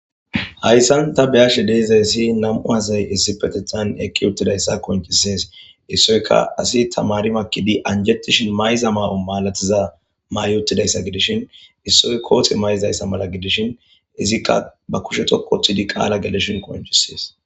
Hayssan ta beyashe dizayssi nam'u asay issipetetan eeqi uuttidayssa qonccises issoykka asi tamaari maakidi mayiza mayo malatizayssa mayi uttidaysa gidishin issoy koote mayizayss agidish gidishin izikka ba kushe dhoqqu Ooththidi qaala gelishin qoncisishes